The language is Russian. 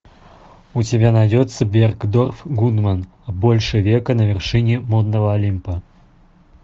у тебя найдется бергдорф гудман больше века на вершине модного олимпа